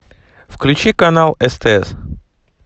включи канал стс